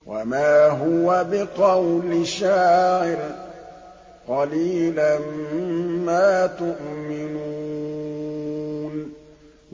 وَمَا هُوَ بِقَوْلِ شَاعِرٍ ۚ قَلِيلًا مَّا تُؤْمِنُونَ